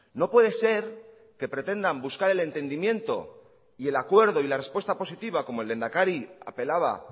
no puede ser que pretendan buscar el entendimiento y el acuerdo y la respuesta positiva como el lehendakari apelaba